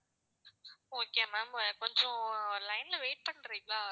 okay ma'am கொஞ்சம் line ல wait பண்றீங்களா?